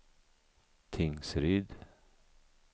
Tingsryd